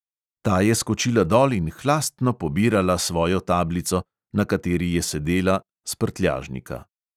Ta je skočila dol in hlastno pobirala svojo tablico, na kateri je sedela, s prtljažnika.